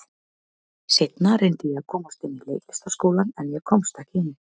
Seinna reyndi ég að komast inn í Leiklistarskólann, en ég komst ekki inn.